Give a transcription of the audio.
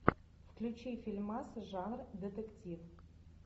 включи фильмас жанр детектив